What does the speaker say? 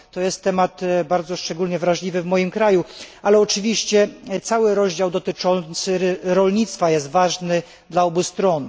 To jest temat szczególnie drażliwy w moim kraju, ale oczywiście cały rozdział dotyczący rolnictwa jest ważny dla obu stron.